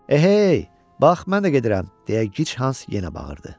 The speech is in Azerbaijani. Ehey! Bax, mən də gedirəm! – deyə Gichans yenə bağırdı.